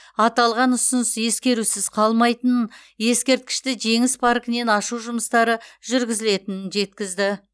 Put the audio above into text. аталған ұсыныс ескерусіз қалмайтынын ескерткішті жеңіс паркінен ашу жұмыстары жүргізілетін жеткізді